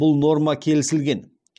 бұл норма келісілген